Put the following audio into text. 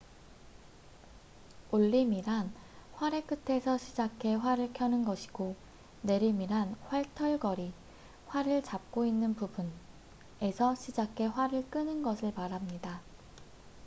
올림이란 활의 끝에서 시작해 활을 켜는 것이고 내림이란 활털걸이활을 잡고 있는 부분에서 시작해 활을 끄는 것을 말합니다